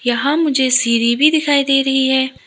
यहां मुझे सिरी भी दिखाई दे रही है।